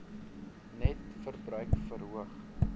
net verbruik verhoog